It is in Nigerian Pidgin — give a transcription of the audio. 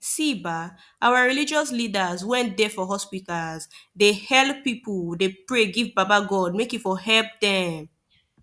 see bah our religious leadas wen dey for hospitas dey helep pipu dey pray give baba godey make he for helep dem